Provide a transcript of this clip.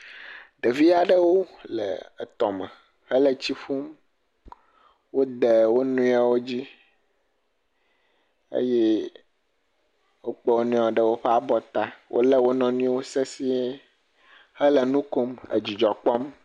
Ɖevi aɖewo le etɔme hele tsi ƒum, wode wo nɔewo dzi eye wokɔ wo nɔewo ɖe woƒe abɔwo ta eye wolé wo nɔewo sesie hele nu kom le dzidzɔ kpɔm.